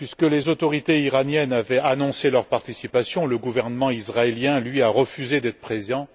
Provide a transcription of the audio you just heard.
Les autorités iraniennes ayant annoncé leur participation, le gouvernement israélien, lui, a refusé d'être présent.